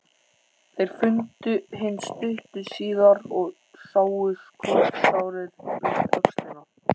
Þeir fundu hinn stuttu síðar og sáu skotsárið við öxlina.